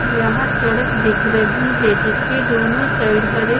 यहां सड़क दिख रही है जिसके दोनों साइड हरे--